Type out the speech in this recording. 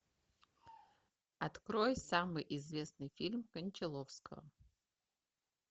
открой самый известный фильм кончаловского